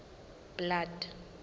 blood